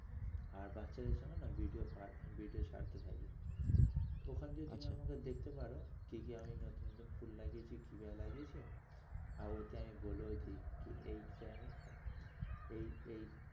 আর বাচ্চাদের সঙ্গে না video ছাড় video ছাড়তে থাকি আচ্ছা তো ওখান থেকে তুমি আমাকে দেখতে পারো কি কি আমি nursery লাগিয়েছি কি না লাগিয়েছি আর ওতে আমি বলেও দিই কি এই time এ এই এই,